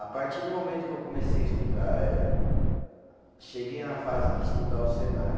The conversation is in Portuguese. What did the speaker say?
A partir do momento que eu comecei a estudar eh, cheguei na fase de estudar o Senai.